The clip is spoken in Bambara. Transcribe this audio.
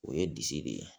O ye disi de ye